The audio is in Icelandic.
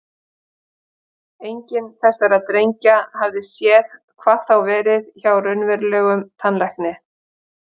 Enginn þessara drengja hafði séð, hvað þá verið hjá raunverulegum tannlækni.